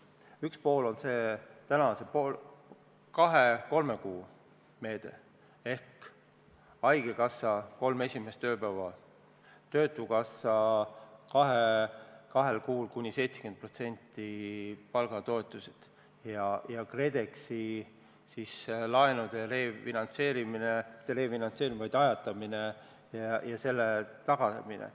Üks pool on see kahe-kolme kuu meede ehk haigekassa hüvitab kolm esimest haiguspäeva, töötukassa maksab kahel kuul kuni 70%-list palgatoetust ja toimub KredExi laenude refinantseerimine – või mitte refinantseerimine, vaid ajatamine – ja selle tagamine.